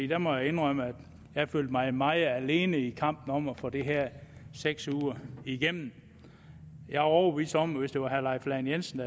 der må jeg indrømme at jeg følte mig meget alene i kampen om at få de her seks uger igennem jeg er overbevist om at hvis det havde været herre leif lahn jensen